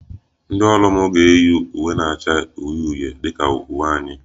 Ndị ọrụ m ga-eyi uwe elu na-acha uhie uhie dị ka uwe anyị